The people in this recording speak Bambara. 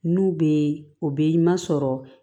N'u bɛ o bɛ ɲuman sɔrɔ